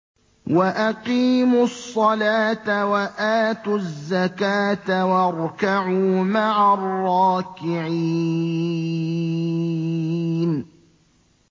وَأَقِيمُوا الصَّلَاةَ وَآتُوا الزَّكَاةَ وَارْكَعُوا مَعَ الرَّاكِعِينَ